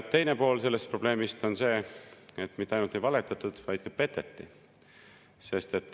Teine pool sellest probleemist on see, et mitte ainult ei valetatud, vaid ka peteti.